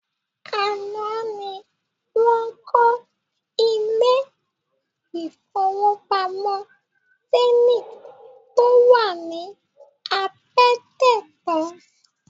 Àná ni wọ́n kọ́ ilé-ìfowópamọ́ Zenith tó wà ní Apẹtẹ tán